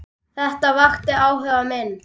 Þetta vakti áhuga minn.